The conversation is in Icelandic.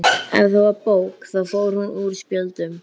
Ef það var bók þá fór hún úr spjöldum.